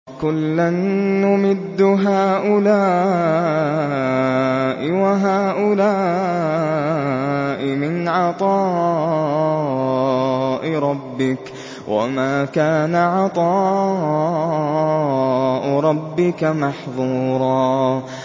كُلًّا نُّمِدُّ هَٰؤُلَاءِ وَهَٰؤُلَاءِ مِنْ عَطَاءِ رَبِّكَ ۚ وَمَا كَانَ عَطَاءُ رَبِّكَ مَحْظُورًا